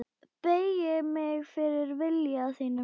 Beygi mig fyrir vilja þínum.